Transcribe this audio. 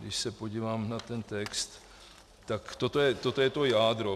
Když se podívám na ten text, tak toto je to jádro.